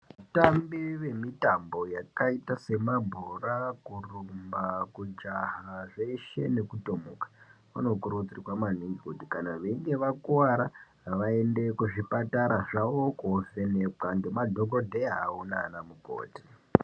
Vatambi vemitambo yakaita semabhora, kurumba ,kujaha zveshe nekutomuka. Vanokurudzirwa maningi kuti kana veinge vakuvara vaende kuzvipatara zvavo kovhenekwa ngemadhogodheya awo nana mukoti.